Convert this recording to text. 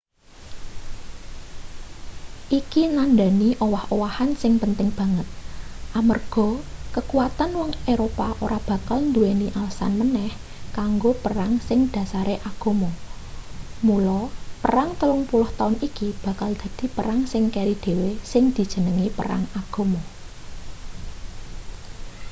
iki nandhani owah-owahan sing penting banget amarga kakuwatan wong eropa ora bakal nduweni alesan maneh kanggo perang sing dhasare agama mula perang telung puluh taun iki bakal dadi perang sing keri dhewe sing dijenengi perang agama